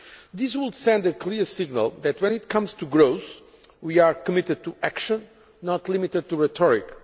This would send a clear signal that, when it comes to growth, we are committed to action, not limited to rhetoric.